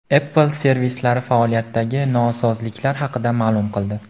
Apple servislari faoliyatidagi nosozliklar haqida ma’lum qildi.